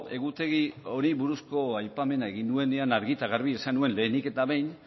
egutegi horri buruzko aipamena egin nuenean argi eta garbi esan nuen lehenik eta behin